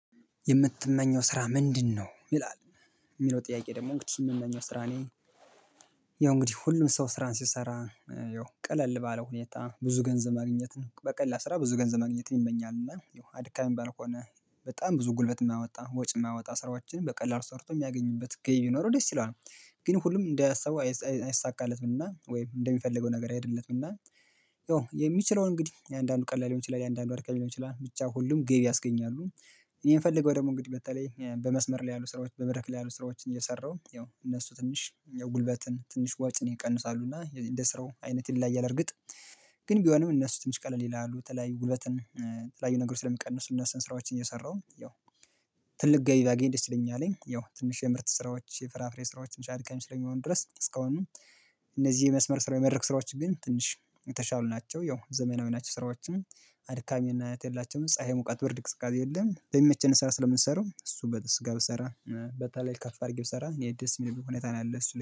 የምትመኘው ስራ ምንድነው? ይላል የሚለው ጥያቄ ደግሞ እንግዲህ የምመኘው ስራ እኔ ያው እንግዲህ ሁሉም ሰው ስራን ሲሰራ ያው ቀለል ባለው ሁኔታ ብዙ ገንዘብ ማግኘት ነው በቀላል ስራ ብዙ ገንዘብ ማግኘትን ይመኛል እና ያው አድካሚ ባልሆነ በጣም ብዙ ጉልበት የማያወጣ ወጭ የማያወጣ ስራዎችንም በቀላል ሰርቶ የሚያገኝበት ገቢ ቢኖረው ደስ ይለዋል። ግን ሁሉም እንዳሰበው አይሳካለትምና ወይም እንደሚፈልገው ነገር አይሄድለትም እና የሚችለውን እንግዲህ የአንዳንዱ ቀላል ሊሆን ይችላል የአንዳንዱ አድካሚ ሊሆን ይችላል ብቻ ሁሉም ገቢ ያስገኛሉ። እኔ የምፈልገው ደግሞ እንግዲህ በተለይ በመስመር ላይ ያሉ ስራዎች ያሉ ስራዎችን እየሰራሁ ያው እነሱ ትንሽ ጉልበትን ትንሽ ወጪን ይቀንሳሉ እንደ ስራው አይነት ይለያያል እርግጥ። ግን ቢሆንም እነሱ ትንሽ ቀለል ይላሉ የተለያዩ ጉልበትን የተለያዩ ነገሮች ስለሚቀንሱ እነሱን ስራዎችን እየሰራሁ ያው ትልቅ ገቢ ባገኝ ደስ ይለኛል። ያው ትንሽ የምርት ስራዎች የፍራፍሬ ስራዎች አድካሚ ስለሚሆኑ ድረስ እስካሁን። እነዚህ የመስመር ስራ የመድረክ ስራዎች ግን ትንሽ የተሻሉ ናቸው ያው ዘመናዊ ናቸው ስራዎቹም አድካሚነት የላቸውም ፀሀይ ሙቃት ብርድ ቅዝቃዜ የለም። በሚመቸን ሰዓት ስለምንሰራው እሱን ብሰራ በተለይ ከፍ አድርጌ ብሰራ እኔ ደስ የሚልብኝ ሁኔታ ነው። ያለ እሱ ላይ